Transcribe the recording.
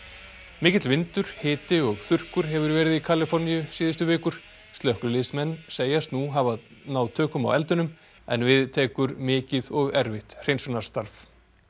mikill vindur hiti og þurrkur hefur verið í Kaliforníu síðustu vikur slökkviliðsmenn segjast nú hafa tök á eldinum en við tekur mikið og erfitt hreinsunarstarf